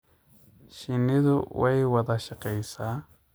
Shinnidu way wada shaqeysaa.